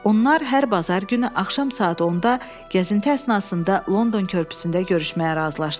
Onlar hər bazar günü axşam saat 10-da gəzinti əsnasında London körpüsündə görüşməyə razılaşdılar.